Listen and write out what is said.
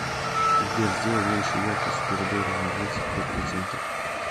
сбер сделай меньше яркость в коридоре на двадцать пять процентов